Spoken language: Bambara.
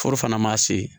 Foro fana ma se